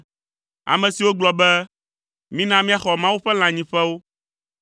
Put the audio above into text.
ame siwo gblɔ be, “Mina míaxɔ Mawu ƒe lãnyiƒewo.”